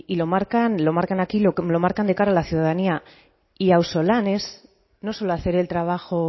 lo marcan aquí y lo marcan de cara a la ciudanía y auzolan es no solo hacer el trabajo